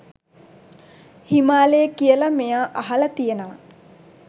හිමාලයේ කියලා මෙයා අහලා තියෙනවා.